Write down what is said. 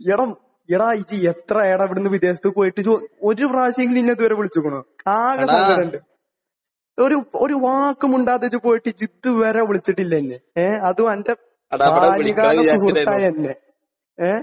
എടാ എടാ നീ എത്ര ആയടാ ഇവിടെ നിന്ന് വിദേശത്തേക്ക് പോയിട്ട്. ഇത് ഒരു പ്രാവശ്യമെങ്കിലും എന്നെ ഇത് വരെ വിളിച്ചിട്ടുണ്ടോ? ഒരു ഒരു വാക്ക് മിണ്ടാതെ നീ പോയിട്ട് നീ ഇത് വരെ വിളിച്ചിട്ടില്ല എന്നെ. ഏഹ്. അതും നിന്റെ ബാല്യകാല സുഹൃത്തായ എന്നെ. ഏഹ്?